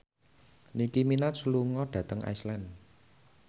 Nicky Minaj lunga dhateng Iceland